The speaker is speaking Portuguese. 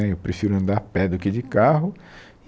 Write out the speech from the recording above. Né eu prefiro andar a pé do que de carro.